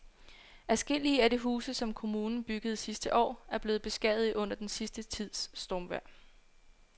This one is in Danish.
Adskillige af de huse, som kommunen byggede sidste år, er blevet beskadiget under den sidste tids stormvejr.